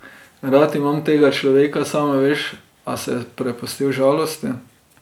Rad imam tega človeka, sama veš, a se je prepustil žalosti.